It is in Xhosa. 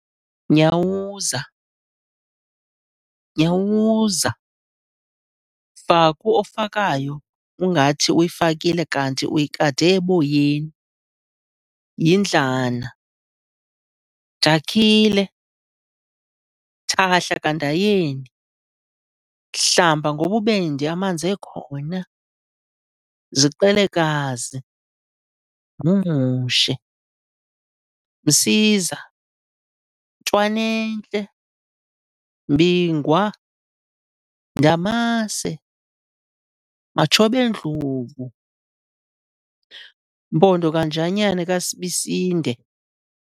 Nyawuza- Nyawuza, Faku ofakayo ungathi uyifakile kanti uyikade eboyeni, Yindlana, Dakhile, Thahla kaNdayeni, Hlamba ngobubende amanzi ekhona, Ziqelekazi, Ngqungqushe, Msiza, Ntlwana'ntle, Mbingwa, Ndamase, Matshob'endlovu, Mpondo kaNjanya kaSibisinde